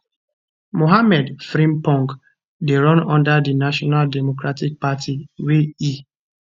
mohammed frimpong dey run under di national democratic party wey e